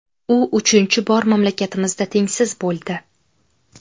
U uchinchi bor mamlakatimizda tengsiz bo‘ldi.